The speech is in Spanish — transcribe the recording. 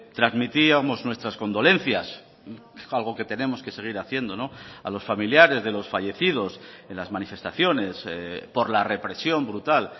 trasmitíamos nuestras condolencias algo que tenemos que seguir haciendo a los familiares de los fallecidos en las manifestaciones por la represión brutal